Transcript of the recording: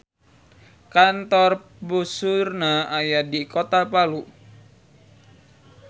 Kantor puseurna aya di kota Palu.